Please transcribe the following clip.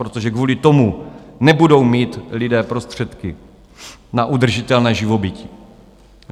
Protože kvůli tomu nebudou mít lidé prostředky na udržitelné živobytí.